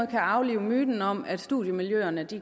kan aflive myten om at studiemiljøerne